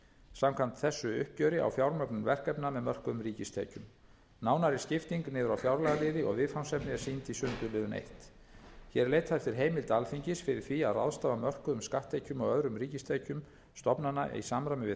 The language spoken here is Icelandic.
samkvæmt þessu uppgjöri á fjármögnun verkefna með mörkuðum ríkistekjum nánari skipting niður á fjárlagaliði og viðfangsefni er sýnd í sundurliðun fyrsta hér er leitað eftir heimild alþingi fyrir því að ráðstafa mörkuðum skatttekjum og öðrum ríkistekjum stofnana í samræmi við